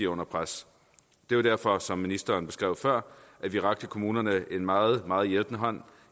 under pres det er derfor som ministeren beskrev før at vi rakte kommunerne en meget meget hjælpende hånd